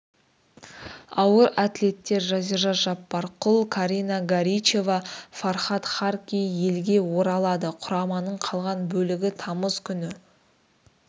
ауыр атлеттер жазира жаппарқұл карина горичева фархат харки елге оралады құраманың қалған бөлігі тамыз күні